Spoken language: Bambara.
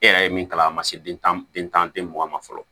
E yɛrɛ ye min kalan a ma se den tan ni mugan ma fɔlɔ